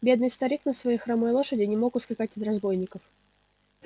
бедный старик на своей хромой лошади не мог ускакать от разбойников